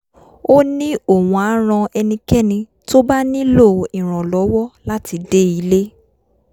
ó ní òun á ran ẹnikẹ́ni tó bá nílò ìrànlọ́wọ́ láti dé ilé